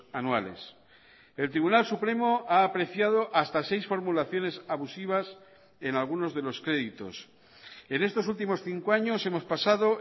anuales el tribunal supremo ha apreciado hasta seis formulaciones abusivas en algunos de los créditos en estos últimos cinco años hemos pasado